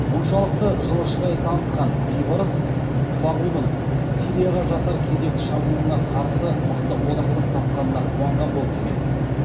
мұншалықты жылышырай танытқан бейбарыс құлағудың сирияға жасар кезекті шабуылына қарсы мықты одақтас тапқанына қуанған болса керек